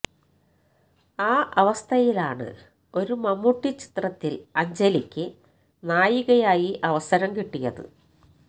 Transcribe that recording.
ആ അവസ്ഥയിലാണ് ഒരു മമ്മൂട്ടി ചിത്രത്തില് അഞ്ജലിയ്ക്ക് നായികയായി അവസരം കിട്ടിയത്